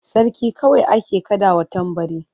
Sarki kawai ake kaɗawa tambari.